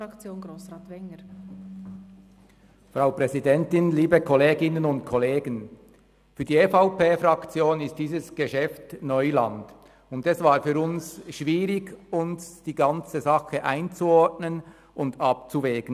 Für die EVP-Fraktion ist dieses Geschäft Neuland, und es war für uns schwierig, die ganze Sache einzuordnen und abzuwägen.